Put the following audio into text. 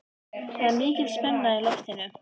Það er mikil spenna í loftinu.